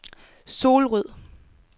Solrød